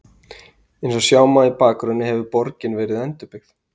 Eins og sjá má í bakgrunni hefur borgin verið endurbyggð.